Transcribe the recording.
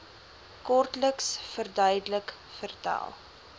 kortliks verduidelik vertel